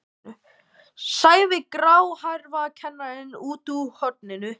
sagði gráhærður kennari utan úr horni.